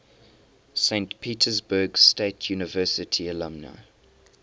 saint petersburg state university alumni